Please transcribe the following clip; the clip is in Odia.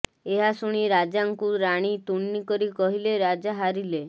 ଏହା ଶୁଣି ରାଜାଙ୍କୁ ରାଣୀ ତୁନି କରି କହିଲେ ରାଜା ହାରିଲେ